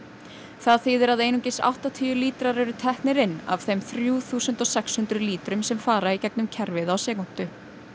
það þýðir að einungis áttatíu lítrar eru teknir inn af þeim þrjú þúsund sex hundruð lítrum sem fara í gegnum kerfið á sekúndu